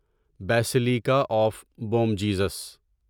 basilica of Bom Jesus